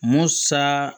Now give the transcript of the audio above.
Musa